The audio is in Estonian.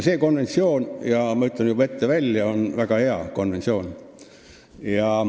See konventsioon – ma ütlen juba ette välja – on väga hea konventsioon.